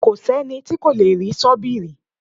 Kò sẹ́ni tí kò lè rí sọ́bìrì